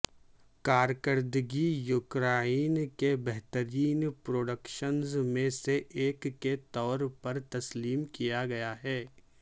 کارکردگی یوکرائن کے بہترین پروڈکشنز میں سے ایک کے طور پر تسلیم کیا گیا ہے